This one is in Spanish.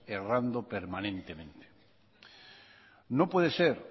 errando permanentemente no puede ser